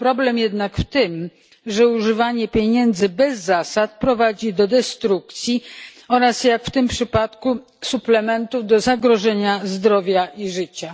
Problem jednak w tym, że używanie pieniędzy bez zasad prowadzi do destrukcji oraz jak w przypadku suplementów do zagrożenia zdrowia i życia.